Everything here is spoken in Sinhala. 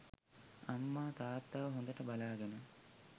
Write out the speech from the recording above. අම්මා තාත්තව හොඳට බලාගෙන